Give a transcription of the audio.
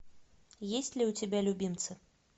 есть ли у тебя любимцы